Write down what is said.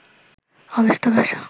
Avesta ভাষা